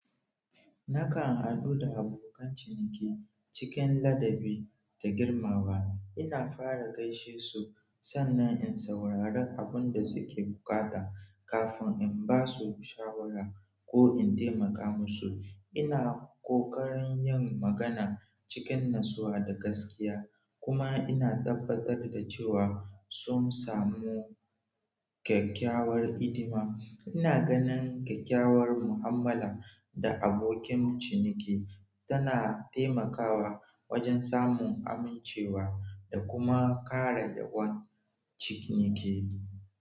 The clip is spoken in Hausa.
Nakan haɗu da abokan ciniki cikin ladabi da girmawa. Ina fara gaishe su, sannan in saurari abin da suke buƙata kafin in ba su shawara ko in taimaka musu. Ina ƙoƙarin yin magana cikin natsuwa da gaskiya kuma ina tabbatar da cewa sun samu kyakkyawar hidima. Ina ganin kyakkyawar mu'amala da abokan ciniki tana taimakawa wajen samun amincewa da kuma ƙara yawon ciniki.